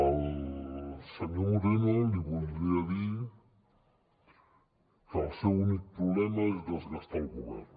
al senyor moreno li voldria dir que el seu únic problema és desgastar el govern